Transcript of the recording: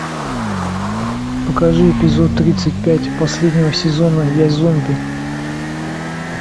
покажи эпизод тридцать пять последнего сезона я зомби